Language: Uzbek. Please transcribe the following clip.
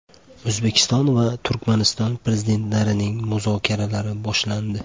O‘zbekiston va Turkmaniston Prezidentlarining muzokaralari boshlandi.